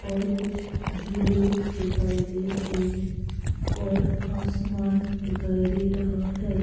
और कुछ झूले दिखाई दे रहे हैं और आसमान दिखाई दे रहा है।